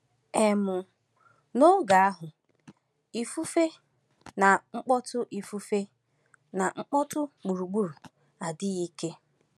um N’oge ahụ, ifufe na mkpọtụ ifufe na mkpọtụ gburugburu adịghị ike.